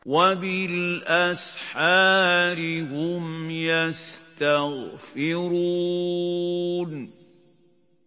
وَبِالْأَسْحَارِ هُمْ يَسْتَغْفِرُونَ